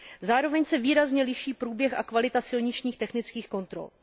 Zároveň se výrazně liší průběh a kvalita silničních technických kontrol.